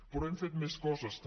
però hem fet més coses també